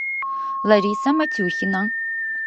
лариса матюхина